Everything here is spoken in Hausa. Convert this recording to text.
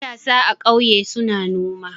Matasa a ƙauye suna noma.